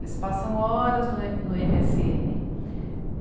Eles passam horas no e... no eme esse ene.